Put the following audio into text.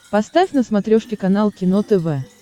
поставь на смотрешке канал кино тв